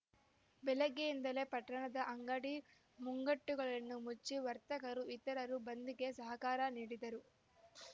ಬೆಳಗ್ಗೆಯಿಂದಲೇ ಪಟ್ಟಣದ ಅಂಗಡಿ ಮುಂಗಟ್ಟುಗಳನ್ನು ಮುಚ್ಚಿ ವರ್ತಕರು ಇತರರು ಬಂದ್‌ಗೆ ಸಹಕಾರ ನೀಡಿದರು